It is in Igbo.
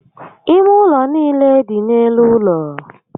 Ime ụlọ niile dị n'elu ụlọ